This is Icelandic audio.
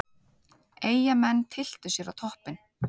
Eyjamenn tylltu sér á toppinn